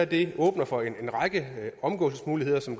det her åbner for en række omgåelsesmuligheder som